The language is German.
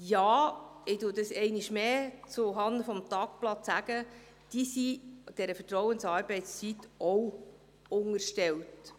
Ja – ich sage das einmal mehr zuhanden des Tagblattes –, diese sind der Vertrauensarbeitszeit auch unterstellt.